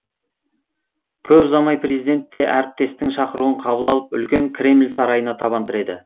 көп ұзамай президент те әріптесінің шақыруын қабыл алып үлкен кремль сарайына табан тіреді